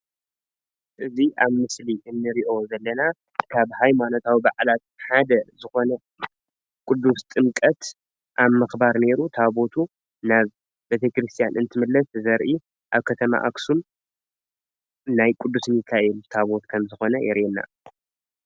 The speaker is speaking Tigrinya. እዚ ኣብ ምስሊ እንሪኦ ዘለና ካብ ሃይማኖታዊ ባዓላት ሓደ ዝኮነ ቑዱስ ጥምቀት ኣብ ምክባር ነይሩ ታቦቱ ናብ ቤተክርስትያን እንትምለስ ዘርኢ ኣብ ከተማ ኣክሱም ናይ ቁዱስ ሚካኤል ታቦት ከም ዝኮነ የርእየና፡፡